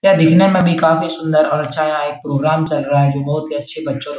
यह दिखने मे भी काफी सुन्दर और अच्छा है यहाँ एक प्रोग्राम चल रहा है जो बहुत ही अच्छे बच्चो का --